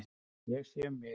Ég sé um mig.